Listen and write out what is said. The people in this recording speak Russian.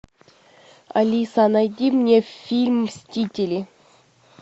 алиса найди мне фильм мстители